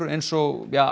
eins og